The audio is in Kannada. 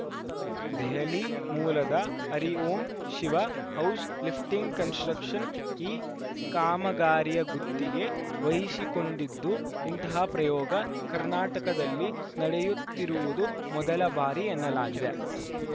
ದೆಹಲಿ ಮೂಲದ Hari Om Shiva house lifting construction ಈ ಕಾಮಗಾರಿಯ ಗುತ್ತಿಗೆ ವಹಿಸಿಕೊಂಡಿದ್ದು ಇಂತಹ ಪ್ರಯೋಗ ಕರ್ನಾಟಕದಲ್ಲಿ ನಡೆಯುತ್ತಿರುವುದು ಮೊದಲ ಬಾರಿ ಎನ್ನಲಾಗಿದೆ